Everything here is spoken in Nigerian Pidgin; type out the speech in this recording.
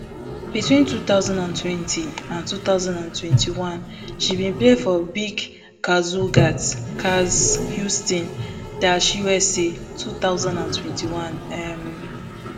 between two thousand and twenty and two thousand and twenty-one she bin play for biik kazygurt kaz houston dash usa two thousand and twenty-one um